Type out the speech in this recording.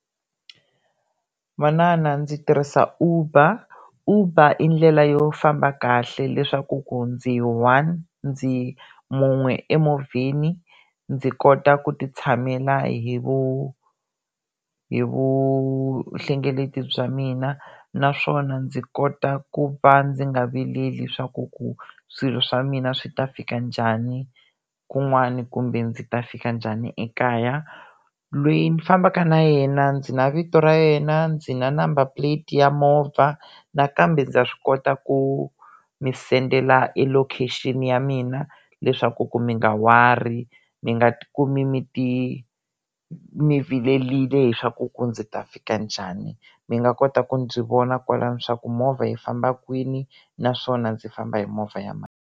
Manana ndzi tirhisa Uber, Uber i ndlela yo famba kahle leswaku ku ndzi one ndzi un'we emovheni ndzi kota ku ti tshamela hi hi vuhlengeleti bya mina naswona ndzi kota ku va ndzi nga vileli swa ku ku swilo swa mina swi ta fika njhani kun'wani kumbe ndzi ta fika njhani ekaya, lweyi ndzi fambaka na yena ndzi na vito ra yena, ndzi na number plate ya movha nakambe ndza swi kota ku mi sendela e location ya mina leswaku ku mi nga worry mi nga ti kumi mi ti mi vilerile hi swa ku ku ndzi ta fika njhani, mi nga kota ku ndzi vona kwalani leswaku movha yi famba kwini naswona ndzi famba hi movha ya mani.